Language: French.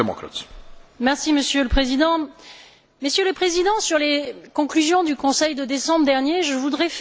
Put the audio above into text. Monsieur le Président, Messieurs les Présidents, sur les conclusions du Conseil de décembre dernier, je voudrais faire deux remarques.